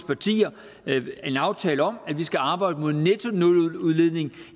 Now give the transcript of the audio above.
partier en aftale om at vi skal arbejde mod en nettonuludledning